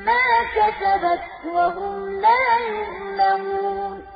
مَّا كَسَبَتْ وَهُمْ لَا يُظْلَمُونَ